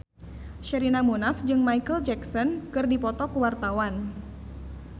Sherina Munaf jeung Micheal Jackson keur dipoto ku wartawan